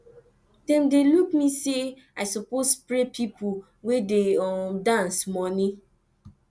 dem dey look me sey i suppose spray pipo wey dey um dance moni